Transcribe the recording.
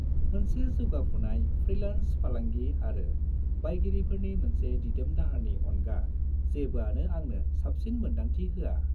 मोनसे जौगाफुनाय फ्रिलान्स फालांगि आरो बायगिरिफोरनि मोनसे दिदोम दाहारनि अनगा जेबोआनो आंनो साबसिन मोन्दांथि होआ।